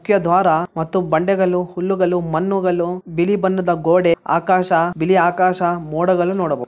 ಮುಖ್ಯದ್ವಾರ ಮತ್ತು ಬಂಡೆಗಲು ಹುಲ್ಲುಗಲು ಮಣ್ಣುಗಲು ಬಿಳಿ ಬಣ್ಣದ ಗೋಡೆ ಆಕಾಶ ಬಿಳಿ ಆಕಾಶ ಮೋಡಗಳು ನೋಡಬಹುದು.